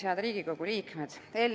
Head Riigikogu liikmed!